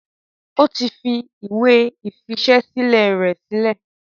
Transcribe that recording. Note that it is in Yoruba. ó ti fi ìwé ìfiṣẹ́sílẹ̀ rẹ̀ sílẹ̀.